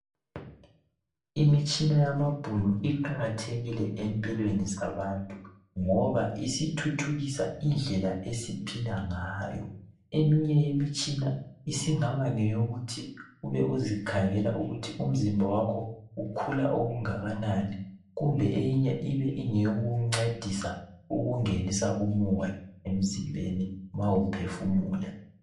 Imitshina yamabhunu iqakathekile empilweni zabantu ngoba isithuthukisa indlela esiphila ngayo eminye yemitshina isingabangeyokuthi ube uzikhangela ukuthi umzimba wakho ukhula okungakanani kumbe eyinye ibengeyokukungcedisa ukungenisa umoya emzimben ma uphefumula